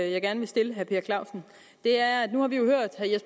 jeg gerne vil stille herre per clausen